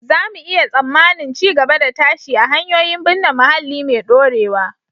Za mu iya tsammanin ci gaba da tashi a hanyoyin binne muhalli mai dorewa